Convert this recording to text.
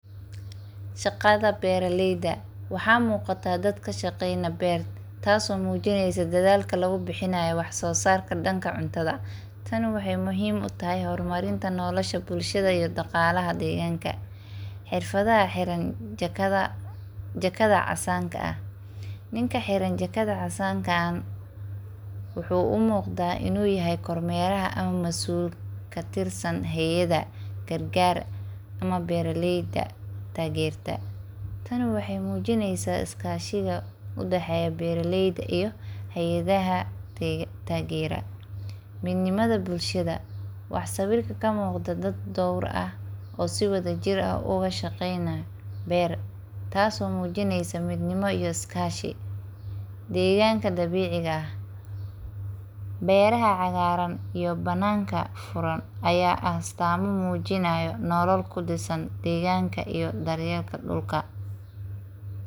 Shagada beraleyda, waxa muqataa dad kashaqeyni beer taas oo mujineysa dadaalka lagubixinayo wax sosarka danka cuntada, tan waxay muxiim utaxay xormarinta nolasha bulshada iyo daqalaxa deganka, xirfada xiraan jakada casanka ah, ninka hiran jakada casanka ah, wuxu umugda inu yaxay kormeraha ama masuul katirsan heyada qarqar ama beraleyda taqerta, tani waxay mujineysa iskashiga udexeya beraleyda iyo hayadaxa tagera, midnimada bulshada, wax sawirka kamugda dad dowr ah oo si wada jir ah ogu shageynayo ber, taas oo mujinaysa midnimo iyo iskashi, deqanka dabiciga ah, beraha caqaran iyo banaka furan, aya ah astamo mujinayo nolol kudisan degan iyo daryelka dulka.